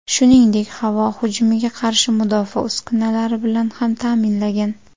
Shuningdek, havo hujumiga qarshi mudofaa uskunalari bilan ham ta’minlagan.